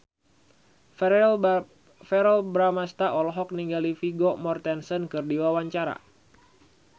Verrell Bramastra olohok ningali Vigo Mortensen keur diwawancara